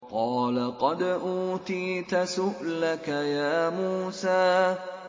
قَالَ قَدْ أُوتِيتَ سُؤْلَكَ يَا مُوسَىٰ